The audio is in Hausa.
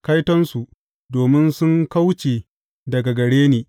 Kaitonsu, domin sun kauce daga gare ni!